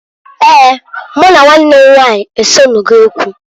Eeǃ Mụ na nwannw m nwanyị esenugo okwu.